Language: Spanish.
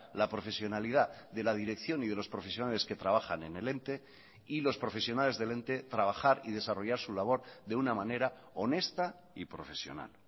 la profesionalidad de la dirección y de los profesionales que trabajan en el ente y los profesionales del ente trabajar y desarrollar su labor de una manera honesta y profesional